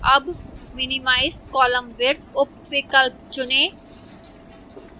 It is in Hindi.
now select अब minimize column width उपविकल्प चुनें